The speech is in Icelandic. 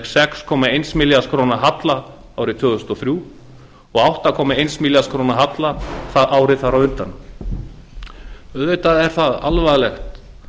sex komma eins milljarðs króna halla árið tvö þúsund og þrjú og átta komma eins milljarðs halla árið þar á undan auðvitað er það alvarlegt